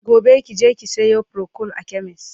gobe kije ki Sayo procold a chemist!